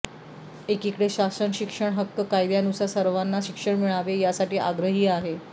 एकीकडे शासन शिक्षण हक्क कायद्यानुसार सवार्ना शिक्षण मिळावे यासाठी आग्रही आहे